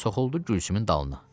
Soxuldu Gülsümün dalına.